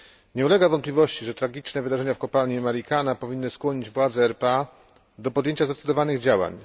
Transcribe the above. Nie ulega wątpliwości, że tragiczne wydarzenia w kopalni Marikana powinny skłonić władze RPA do podjęcia zdecydowanych działań.